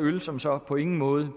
øl som så på ingen måde